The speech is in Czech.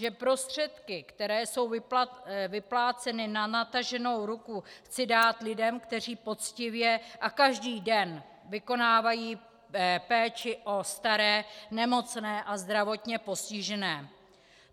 Že prostředky, které jsou vypláceny na nataženou ruku, chci dát lidem, kteří poctivě a každý den vykonávají péči o staré, nemocné a zdravotně postižené?